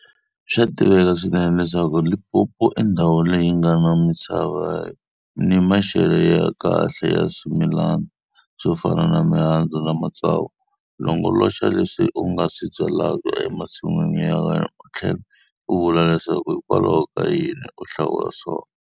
Swa tiveka swinene leswaku Limpopo i ndhawu leyi yi nga na misava ni maxele ya kahle ya swimilana swo fana ni mihandzu na matsavu. Longoloxa leswi u nga swi byalaka emasin'wini ya wena u tlhela ku vula leswaku hikokwalaho ka yini u hlawula swona.